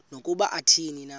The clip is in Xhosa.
nokuba athini na